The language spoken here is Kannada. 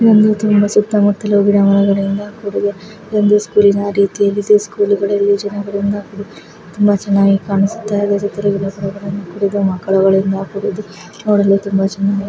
ಈ ಒಂದು ತುಂಬಾ ಸುತ್ತಮುತ್ತಲು ಗಿಡಮರಗಳಿಂದ ಕೂಡಿದೆ ಒಂದು ಸ್ಕೂಲಿನ ರೀತಿಯಲ್ಲಿ ಇದೆ ಸ್ಕೂಲ್ ಜನರಿಂದ ಕೂಡಿದೆ ತುಂಬಾ ಚನ್ನಾಗಿ ಕಾಣಸ್ತಾ ಇದೆ ಕೂಡಿದೆ ಮಕ್ಕಳುಗಳಿಂದ ಕೂಡಿದ್ದು ನೋಡಲು ತುಂಬಾ ಚನ್ನಾಗಿದೆ.